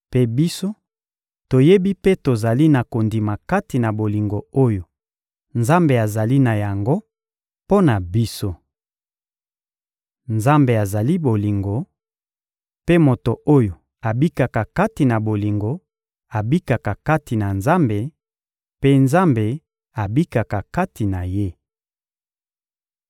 Mpe biso toyebi mpe tozali na kondima kati na bolingo oyo Nzambe azali na yango mpo na biso. Nzambe azali bolingo, mpe moto oyo abikaka kati na bolingo abikaka kati na Nzambe, mpe Nzambe abikaka kati na ye.